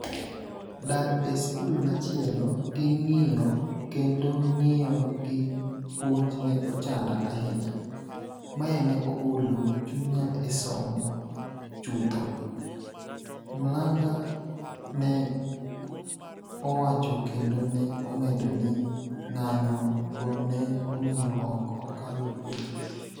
dar e skul machielo gi ng'iyo kendo ng'iyo gi puonj ne ochanda ahinya .mae ne ogolo chunya e somo chutho'', Mlang'a ne owacho kendo ne omedo ni ng'anyo go ne omiyo ok okalo penj